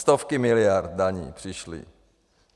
Stovky miliard daní přišly...